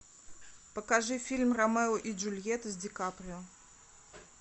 покажи фильм ромео и джульетта с ди каприо